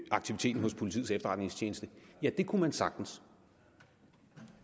aktiviteten hos politiets efterretningstjeneste ja det kunne man sagtens